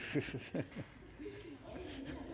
tak